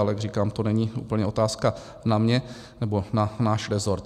Ale jak říkám, to není úplně otázka na mě nebo na náš rezort.